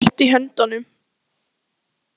Við höfum þetta allt í höndunum.